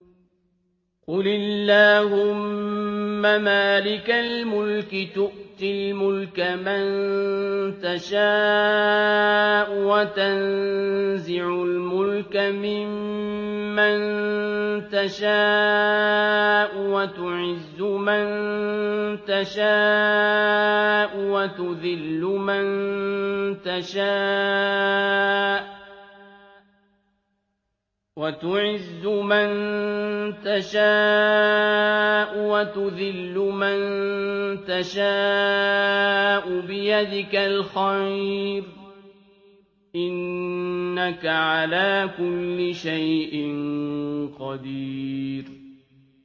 قُلِ اللَّهُمَّ مَالِكَ الْمُلْكِ تُؤْتِي الْمُلْكَ مَن تَشَاءُ وَتَنزِعُ الْمُلْكَ مِمَّن تَشَاءُ وَتُعِزُّ مَن تَشَاءُ وَتُذِلُّ مَن تَشَاءُ ۖ بِيَدِكَ الْخَيْرُ ۖ إِنَّكَ عَلَىٰ كُلِّ شَيْءٍ قَدِيرٌ